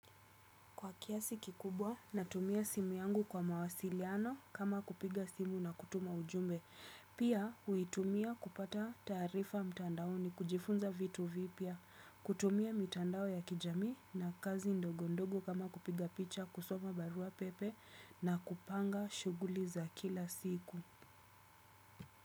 Kwa kiasi kikubwa, natumia simu yangu kwa mawasiliano kama kupiga simu na kutuma ujumbe. Pia, huitumia kupata taarifa mtandaoni kujifunza vitu vipya. Kutumia mitandao ya kijamii na kazi ndogo ndogo kama kupiga picha, kusoma barua pepe na kupanga shuguli za kila siku.